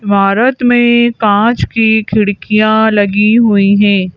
भारत में काँच की खिड़कियाँ लगी हुई हैं।